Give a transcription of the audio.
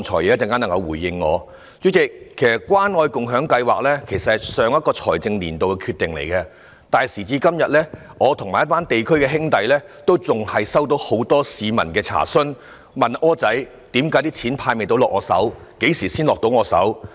主席，關愛共享計劃其實是上一個財政年度的決定，但時至今天，我和一群在地區工作的兄弟仍然收到很多市民查詢，他們問我："'柯仔'，為何錢仍未派到我手上，何時才會到我手呢？